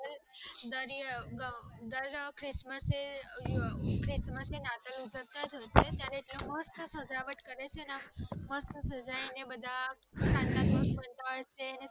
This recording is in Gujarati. દર christmas માં નાતાલ માં મસ્ત સજાવટ કરે છે નેમસ્ત જઈને santa claus ને જોવે